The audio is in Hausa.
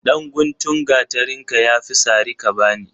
Dan guntun gatarinka yafi sari kabani.